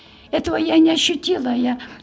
этого я не ощутила я